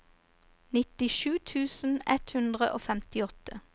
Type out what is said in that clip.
nittisju tusen ett hundre og femtiåtte